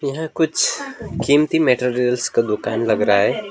यह कुछ कीमती मैटेरियल्स का दुकान लग रहा है।